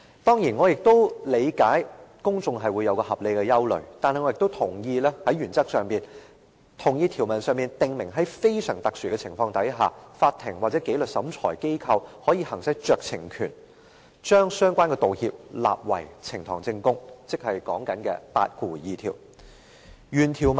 當然，我也理解公眾會有合理的疑慮，但我在原則上同意，於條文中訂明在非常特殊的情況下，法庭或紀律審裁機構可以行使酌情權，將相關的道歉納為呈堂證供，也就是第82條的規定。